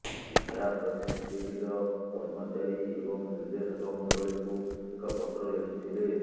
ସିଦ୍ଧାର୍ଥ ସିସିଡିର କର୍ମଚାରୀ ଏବଂ ନିର୍ଦେଶକ ମଣ୍ଡଳୀକୁ ଏକ ପତ୍ର ଲେଖିଥିଲେ